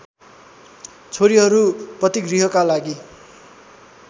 छोरीहरू पतिगृहका लागि